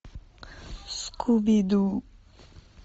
скуби ду